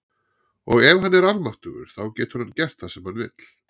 Og ef hann er almáttugur þá getur hann gert það sem hann vill.